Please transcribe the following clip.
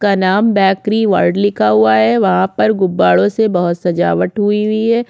का नाम bakery world लिखा हुआ है वहा पर गुबाड़ो से बहुत सजावट की हुई-हुईं है।